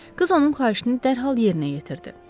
Qız onun xahişini dərhal yerinə yetirdi.